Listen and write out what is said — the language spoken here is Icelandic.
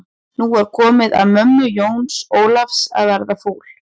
Nú var komið að mömmu Jóns Ólafs að verða fúl.